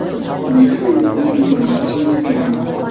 Men ham uni qo‘yib yubormoqchi emasdim.